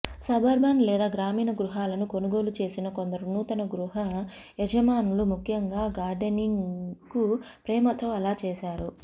suburban లేదా గ్రామీణ గృహాలను కొనుగోలు చేసిన కొందరు నూతన గృహయజమానులు ముఖ్యంగా గార్డెనింగ్కు ప్రేమతో అలా చేసారు